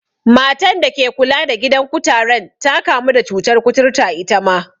Matan da ke kula da gidan kutaren ta kamu da cutar kuturta itama.